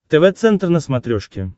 тв центр на смотрешке